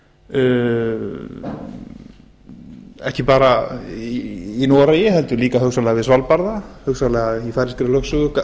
og gasi ekki bara í noregi heldur líka hugsanlega við svalbarða hugsanlega í færeyskri lögsögu þá er ég að